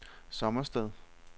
Sommersted